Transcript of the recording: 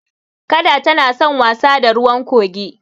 Kada tana san wasa da ruwan kogi.